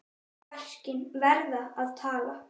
Verkin verða að tala.